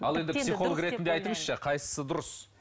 ал енді психолог ретінде айтыңызшы қайсысы дұрыс